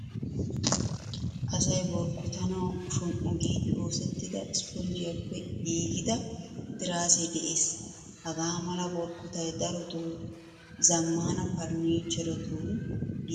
Asay borkkottanawu shomm'u giidi oosettida issponjjiyappe giigida tiraase de'ees. Hagaamala borkkottay darotto zamaana furnichcheretun giigida oydiyan uttiyode zemppanawunne oyqqidi uttanawu go'ees.